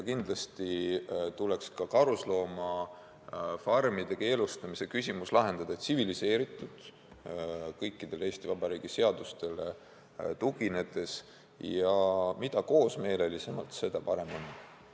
Kindlasti tuleks ka karusloomafarmide keelustamise küsimus lahendada tsiviliseeritult, kõikidele Eesti Vabariigi seadustele tuginedes ja mida koosmeelelisemalt, seda parem on.